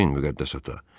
Bağışlayın müqəddəs ata.